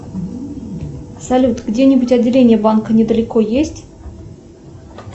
салют где нибудь отделение банка недалеко есть